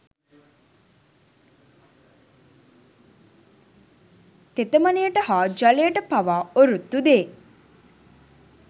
තෙතමනයට හා ජලයට පවා ඔරොත්තු දේ.